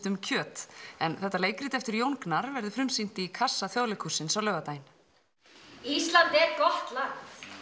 um kjöt þetta leikrit eftir Jón Gnarr verður frumsýnt í kassa Þjóðleikhússins á laugardag er gott land